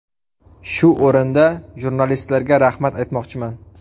Shu o‘rinda jurnalistlarga rahmat aytmoqchiman.